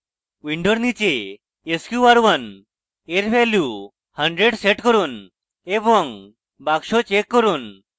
window নীচে sqr1 at value 100 set করুন এবং box check করুন